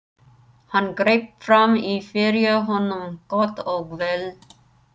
Hann greip fram í fyrir honum: Gott og vel.